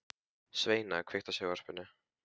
Sveina, kveiktu á sjónvarpinu.